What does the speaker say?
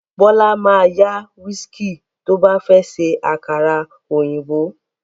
Bọ́lá ma yá wíìskì tó bá fẹ́ ṣe àkàrà òyìnbó